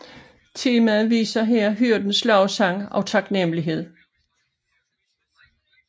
Temaet viser her hyrdernes lovsang og taknemmelighed